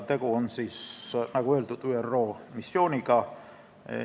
Tegu on, nagu öeldud, ÜRO missiooniga.